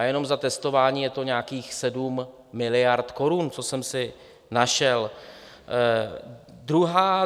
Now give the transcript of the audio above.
A jenom za testování je to nějakých 7 miliard korun, co jsem si našel.